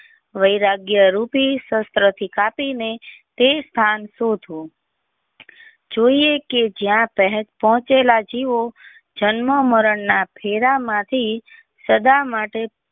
વૈરાગીય રૂપી શાસ્ત્ર થી કાપી ને તે સ્થાન ચુ જોઈએ કે જ્યાં સુધી પહોંચેલા જીવો જન્મ મરણ ના ફેરા માંથી સદા માટે.